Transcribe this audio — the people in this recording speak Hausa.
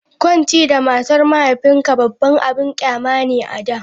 Kwanci da matar mahaifinka babban abin ƙyama ne a da.